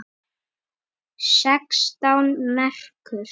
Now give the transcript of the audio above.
Sextán merkur!